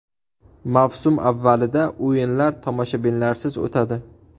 Mavsum avvalida o‘yinlar tomoshabinlarsiz o‘tadi.